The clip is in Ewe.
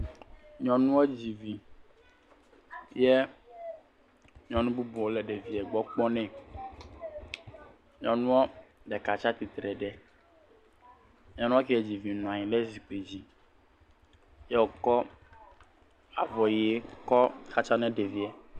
Nyɔnua dzi vi ye nyɔnu bubu le ɖevia gbɔ kpɔɔ ne. Nyɔnua ɖeka tsia tsitre ɖe nyɔnua ke dzi vi nɔ anyi ɖe zikpui dzi ye wokɔ avɔ ʋi kɔ xatsa ne ɖevia.